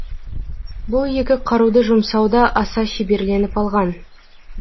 бұл екі қаруды жұмсауда аса шеберленіп алған